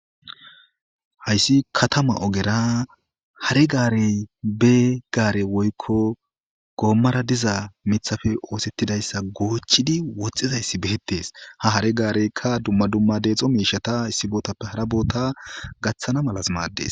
Hayssi katama ogera hare gaarey be gaare woykko goommara diza mithafe oosettidayssa goochidi woxxizayssi beettees ha hare gaareykka dumma dumma deexo miishata issi bootappe hara boota gaththana malas maaddes.